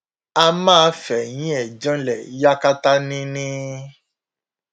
a máa fẹ̀yìn ẹ̀ janlẹ̀ yakata ni ni